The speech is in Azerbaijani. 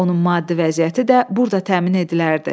Onun maddi vəziyyəti də burda təmin edilərdi.